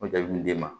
O jaabi bi d'e ma